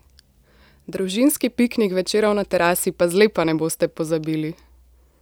Družinski piknik večerov na terasi pa zlepa ne boste pozabili!